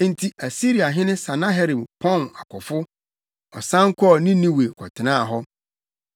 Enti Asiriahene Sanaherib pɔn nʼakofo. Ɔsan kɔɔ Ninewe kɔtenaa hɔ.